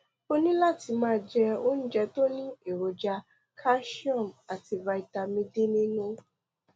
o ní láti máa jẹ oúnjẹ tó ní èròjà calcium àti vitamin d nínú